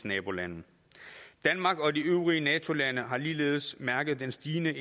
nabolande danmark og de øvrige nato lande har ligeledes mærket den stigende